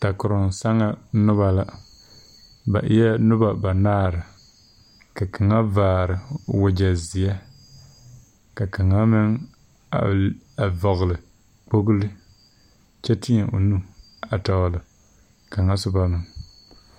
Dakoroŋ saŋa noba la ba eɛ noba banaare ka kaŋa vaare wagyɛ zeɛ ka kaŋa meŋ a vɔgle kpogle kyɛ teɛ o nu tɔgle kaŋa soba na.